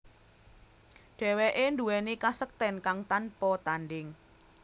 Dheweke nduweni kasekten kang tanpa tandhing